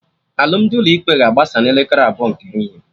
Alụmdi ụlọ ikpe ga-agbasa na elekere abụọ nke ehihie